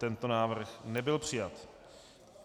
Tento návrh nebyl přijat.